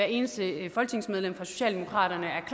eneste folketingsmedlem fra socialdemokratiet er